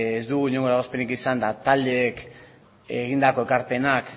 ez dugu inongo eragozpenik izan eta taldeek egindako ekarpenak